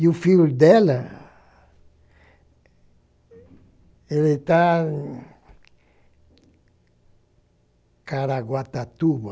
E o filho dela, ele está em Caraguatatuba,